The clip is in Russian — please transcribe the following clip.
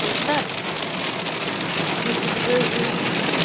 ты знаешь как хочется жить